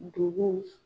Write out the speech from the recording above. Duguw